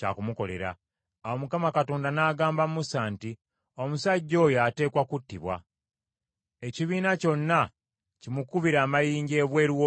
Awo Mukama Katonda n’agamba Musa nti, “Omusajja oyo ateekwa kuttibwa. Ekibiina kyonna kimukubire amayinja ebweru w’olusiisira.”